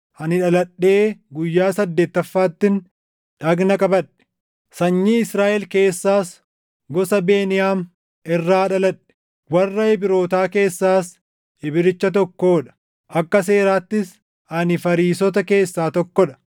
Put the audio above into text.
Ani dhaladhee guyyaa saddeettaffaattin dhagna qabadhe; sanyii Israaʼel keessaas gosa Beniyaam irraa dhaladhe; warra Ibrootaa keessaas Ibricha tokkoo dha; akka seeraattis ani Fariisota keessaa tokko dha;